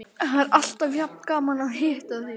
Það er alltaf jafn gaman að hitta þig.